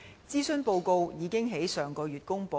諮詢報告已於上月公布。